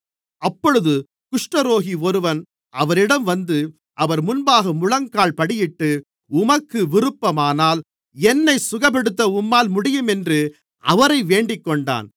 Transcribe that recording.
அப்பொழுது குஷ்டரோகி ஒருவன் அவரிடம் வந்து அவர் முன்பாக முழங்கால்படியிட்டு உமக்கு விருப்பமானால் என்னைச் சுகப்படுத்த உம்மால் முடியும் என்று அவரை வேண்டிக்கொண்டான்